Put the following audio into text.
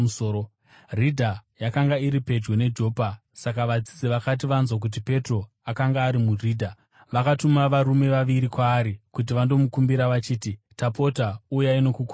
Ridha yakanga iri pedyo neJopa; saka vadzidzi vakati vanzwa kuti Petro akanga ari muRidha, vakatuma varume vaviri kwaari kuti vandomukumbira vachiti, “Tapota, uyai nokukurumidza!”